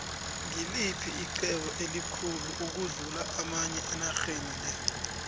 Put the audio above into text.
ngiliphi ixhwebo elikhulu ukudlu amanye enorhenile